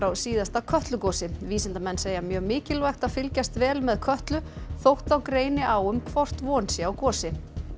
síðasta Kötlugosi vísindamenn segja mjög mikilvægt að fylgjast vel með Kötlu þótt þá greini á um hvort von sé á gosi